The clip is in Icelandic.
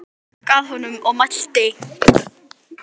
Jón gekk að honum og mælti